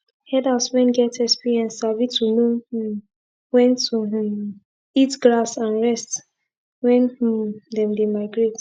herders wen get experience sabi to know um wen to um eat grass and rest wen um them dey migrate